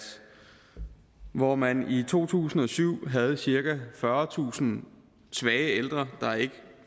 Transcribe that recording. hvor man i to tusind og syv havde cirka fyrretusind svage ældre der ikke